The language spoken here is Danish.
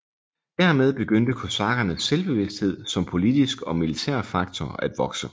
Dermed begyndte kosakkernes selvbevidsthed som politisk og militær faktor at vokse